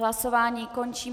Hlasování končím.